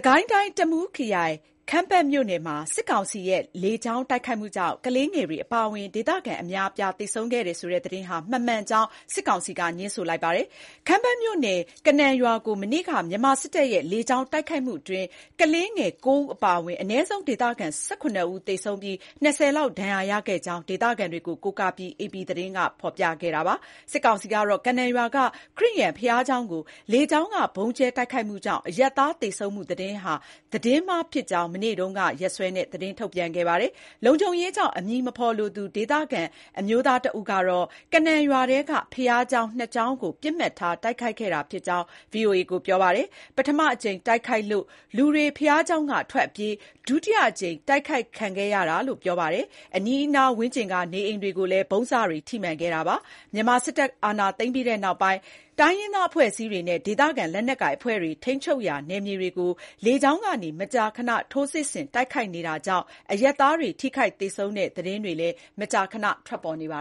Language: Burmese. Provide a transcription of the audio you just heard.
ကိုင်းတိုင်း တမူးခရိုင် ခမ်းပတ်မြို့နယ်မှာ စစ်ကောင်စီရဲ့ လေကြောင်းတိုက်ခိုက်မှုကြောင့် ကလေးငယ်တွေ အပါအဝင် ဒေသခံ အများအပြား သေဆုံးခဲ့တယ်ဆိုတဲ့ သတင်းဟာ မမှန်ကြောင်း စစ်ကောင်စီက ငြင်းဆန်လိုက်ပါတယ်။ ခမ်းပတ်မြို့နယ် ကနန်ရွာကို မနေ့က မြန်မာစစ်တပ်ရဲ့ လေကြောင်းတိုက်ခိုက်မှုအတွင်း ကလေးငယ် ၉ ဦး အပါအဝင် အနည်းဆုံး ဒေသခံ ၁၇ ဦးသေဆုံးပြီး၊ ၂၀ လောက် ဒဏ်ရာရခဲ့ကြာင်း ဒေသခံတွေကို ကိုးကားပြီး AP သတင်းက ဖော်ပြခဲ့တာပါ။ စစ်ကောင်စီကတော့ ကနန်ရွာက ခရစ်ယာန်ဘုရားကျောင်းကို လေကြောင်းက ဗုံးကျဲတိုက်ခိုက်မှုကြောင့် အရပ်သား သေဆုံးမှု သတင်းဟာ သတင်းမှားဖြစ်ကြောင်း မနေ့တုန်းက ရက်စွဲနဲ့ သတင်းထုတ်ပြန်ခဲ့ပါတယ်။ လုံခြုံရေးကြောင့် အမည်မဖော်လိုသူ ဒေသခံ အမျိုးသား တဦးကတော့ ကနန်ရွာထဲက ဘုရားကျောင်း ၂ ကျောင်းကို ပစ်မှတ်ထား တိုက်ခိုက်ခဲ့တာဖြစ်ကြောင်း VOA ကို ပြောပါတယ်။ ပထမအကြိမ်တိုက်ခိုက်လို့ လူတွေ ဘုရားကျောင်းက ထွက်အပြေး ဒုတိယအကြိမ် တိုက်ခိုက် ခံခဲ့ရတာလို့ ပြောပါတယ်။ အနီးနားဝန်းကျင်က နေအိမ်တွေကိုလည်း ဗုံးစတွေ ထိမှန်ခဲ့ပါတယ်။ မြန်မာစစ်တပ် အာဏာသိမ်းပြီးနောက်ပိုင်း တိုင်းရင်းသား အဖွဲ့အစည်းတွေနဲ့ ဒေသခံ လက်နက်ကိုင်အဖွဲ့တွေ ထိန်းချုပ်ရာနယ်မြေတွေကို လေကြောင်းကနေ မကြာခဏ ထိုးစစ်ဆင်တိုက်ခိုက်နေတာကြောင့် အရပ်သားတွေ ထိုခိုက်သေဆုံးတဲ့ သတင်းတွေ မကြာခဏ ထွက်ပေါ်နေပါ